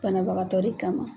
Banabagatɔ de kama.